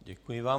Děkuji vám.